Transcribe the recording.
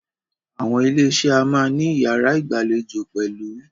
Àwọn ilé iṣé a máà ní iyàrá ìgbàlejò pẹ̀lú.